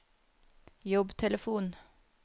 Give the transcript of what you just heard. jobbtelefon